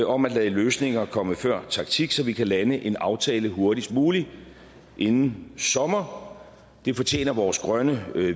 om at lade løsninger komme før taktik så vi kan lande en aftale hurtigst muligt inden sommer det fortjener vores grønne